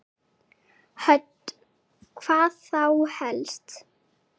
Hödd: Hvað þá helst?